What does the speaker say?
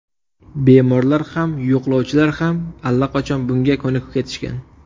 Bemorlar ham, yo‘qlovchilar ham allaqachon bunga ko‘nikib ketishgan.